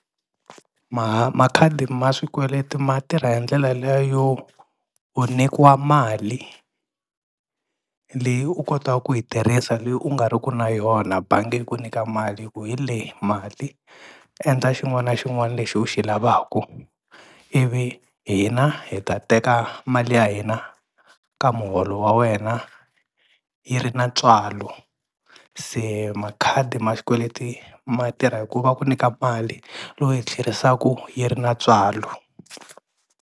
makhadi ma swikweleti ma tirha hi ndlela liya yo u nyikiwa mali leyi u kotaku ku yi tirhisa leyi u nga ri ku na yona bangi yi ku nyika mali yi ku hi leyi mali endla xin'wana na xin'wani lexi u xi lavaku, ivi hina hi ta teka mali ya hina ka muholo wa wena yi ri na ntswalo. Se makhadi ma xikweleti ma tirha hi ku va ku nyika mali lowu hi tlherisaku yi ri na ntswalo.